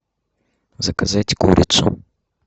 заказать курицу